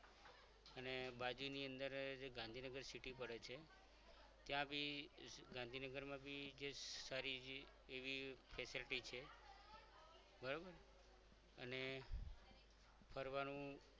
અને બાજુની અંદર જ ગાંધીનગરમાં city પડે છે ગાંધીનગરમાં આવી જે સારી એવી facilities છે બરોબર અને ફરવાનું